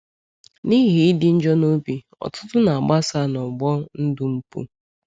N’ihi ịdị njọ obi, ọtụtụ na-agbasa n’ọgbọ ndụ mpụ.